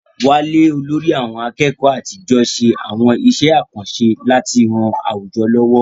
Wale, olórí àwọn akẹ́kọ̀ọ́ àtijọ́, ṣe àwọn iṣẹ́ àkànṣe láti ran àwùjọ lọ́wọ́.